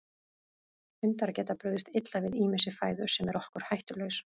Hundar geta brugðist illa við ýmissi fæðu sem er okkur hættulaus.